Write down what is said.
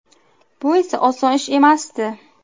Bu esa oson ish emasdi.